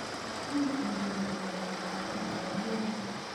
Muuch inyoru miondo ab konyek akomenai